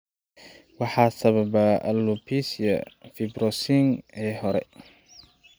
Maxaa sababa alopecia fibrosing ee hore?